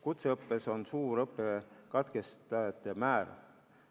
Kutseõppes on suur õppe katkestajate määr.